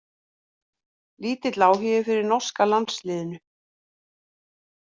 Lítill áhugi fyrir norska landsliðinu